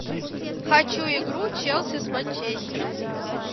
хочу игру челси с манчестером